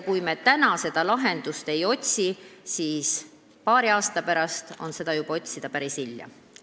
Kui me täna lahendusi ei otsi, siis paari aasta pärast on seda teha juba päris hilja.